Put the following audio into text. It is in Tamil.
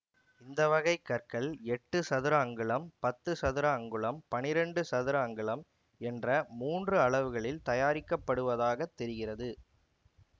இந்த வகை கற்கள் எட்டு சதுர அங்குலம் பத்து சதுர அங்குலம் பனிரெண்டு சதுர அங்குலம் என்ற மூன்று அளவுகளில் தயாரிக்கப்படுவதாகத் தெரிகிறது